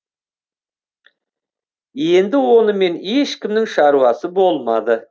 енді онымен ешкімнің шаруасы болмады